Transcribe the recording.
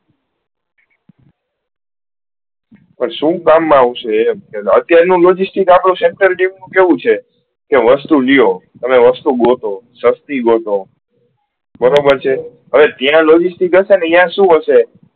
પણ શું કામ માં આવશે એ એમ અત્યાર નું logistics આપડો center મા કેવું છે કે વસ્તુ લિયો અને વસ્તુ ગોથો સસ્તી ગોઠો બરાબર છે હવે ત્યાં logistics અયીયા શું હશે